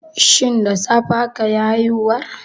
Shin da safe akayi haihuwar?